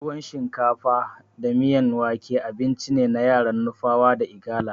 Tuwon shinkafa da miyan wake abincine na yaran nupawa da igala.